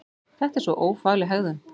Þetta er svo ófagleg hegðun!